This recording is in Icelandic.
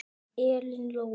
Elín Lóa.